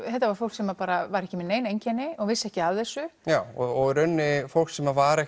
þetta var fólk sem var ekki með nein einkenni og vissi ekki af þessu já og í rauninni fólk sem var